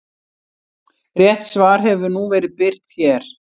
Rétt svar hefur nú verið birt hér.